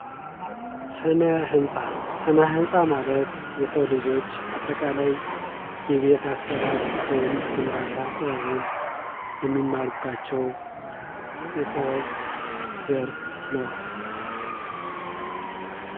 ስነ ህንፃ ፦ ስነ ህንፃ ማለት የሰው ልጆች አጠቃላይ የቤት አሰራር ወይም ግንባታ ጥበብን የሚማሩባቸው የጥበብ ዘርፍ ነው ።